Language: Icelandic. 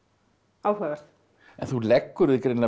áhugaverð en þú leggur þig greinilega